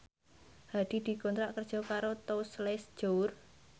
Hadi dikontrak kerja karo Tous Les Jour